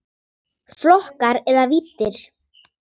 Flokkar eða víddir